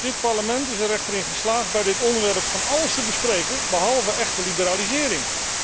Dit Parlement is er echter in geslaagd bij dit onderwerp van alles te bespreken behalve echte liberalisering.